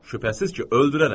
Şübhəsiz ki, öldürərəm.